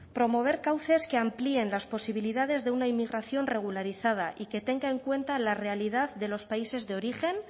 promover cauces que amplíen las posibilidades de una inmigración regularizada y que tenga en cuenta la realidad de los países de origen